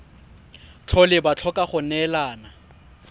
tlhole ba tlhoka go neelana